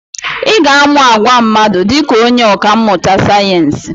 Ị ga-amụ àgwà mmadụ dị ka onye ọkà mmụta sayensị.